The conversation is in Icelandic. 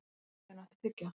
Skarphéðinn, áttu tyggjó?